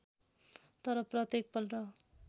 तर प्रत्येक पल्ट